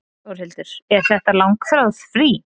Þórhildur: Er þetta langþráð frí?